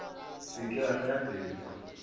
se ke wa fela pelo